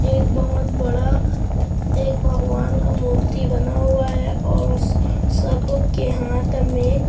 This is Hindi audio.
एक बोहोत बड़ा एक भगवान का मूर्ति बना हुआ और उस सबके हाथ मे--